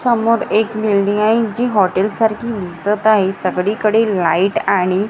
समोर एक बिल्डिंग आहे जी हॉटेल सारखी दिसतं आहे. सगळीकडे लाईट आणि--